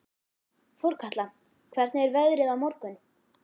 Þorkatla, hvernig er veðrið á morgun?